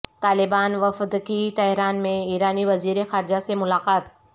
طالبان وفدکی تہران میں ایرانی وزیر خارجہ سے ملاقات